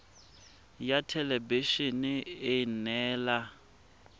ya thelebi ene e neela